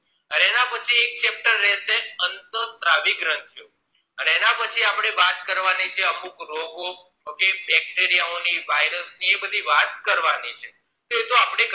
હવે એના પછી એક chapter રેસે અંતસ્ત્રાવી ગ્રંથીઓ અને એના પછી આપડે વાત કરવાની છે અમુક રોગો okaybacteriya ઓની virous ની એ બધી વાત કરવાની છે તો એતો આપડે